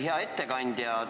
Hea ettekandja!